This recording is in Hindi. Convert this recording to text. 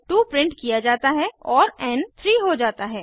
2 प्रिंट किया जाता है और एन 3 हो जाता है